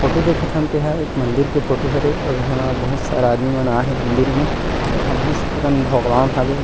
Photo देखथन तेहा एक मंदिर के फोटो हरे अउ इंहा बहुत सारा आदमी मन आहे मंदिर में अउ इंहा बहुत से कन भगवान हवे।